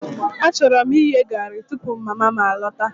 Achọrọ m ighe garri tupu mama m alọta